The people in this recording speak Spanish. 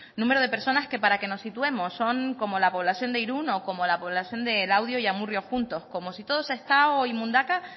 número de personas que para que nos situemos son como la población de irún o como la población de laudio y amurrio juntos como si todo sestao y mundaka